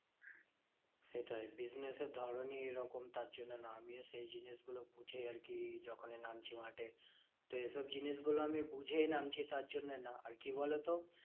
সেটাই business এর ধরণই এরকম। তার জন্য না আমিও সেই জিনিস গুলো গুছিয়ে আরকি যখনি নামছি মাঠে। তো এইসব জিনিসগুলো আমি বুঝেই নামছি তার জন্যে না। আর কি বলতো?